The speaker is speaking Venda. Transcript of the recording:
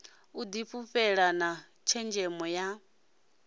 u difhulufhela na tshenzhemo ya